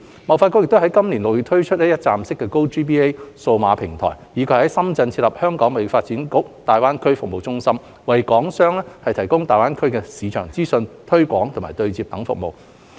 貿發局已於今年6月推出一站式 "GoGBA" 數碼平台，以及在深圳設立"香港貿發局大灣區服務中心"，為港商提供大灣區市場資訊、推廣、對接等服務。